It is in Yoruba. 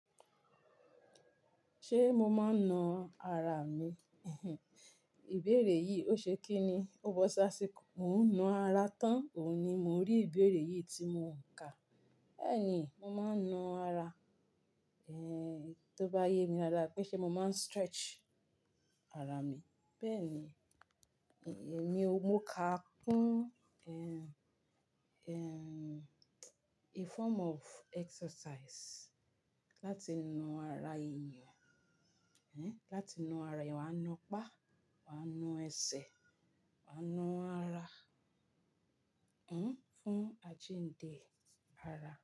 Ṣé mo máa ń na ara mi? Ìbéèrè yìí ó ṣe kí ni? Ó bọ́ sá síko. Mo ń na ara tán. Òun ni mo ń rí ìbéèrè yìí tí mo ń kà. Bẹ́ẹ̀ ni, mo máa ń na ara. Tó bá yé mi dáadáa, péṣẹ̀ mo máa ń stretch ara mi. Bẹ́ẹ̀ ni, èmi ó, mo kà á kún, a form of exercise. Láti na ara èèyàn. Ehn, láti na ara èèyàn, wàá na pá, wàá na ẹsẹ̀, wàá na ara. Hmm, fún àjíǹde ara.